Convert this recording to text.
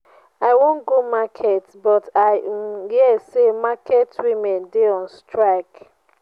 i wan go market but i um hear say market women dey on strike.